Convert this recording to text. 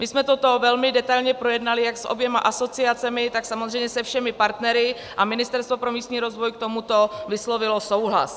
My jsme toto velmi detailně projednali jak s oběma asociacemi, tak samozřejmě se všemi partnery a Ministerstvo pro místní rozvoj k tomuto vyslovilo souhlas.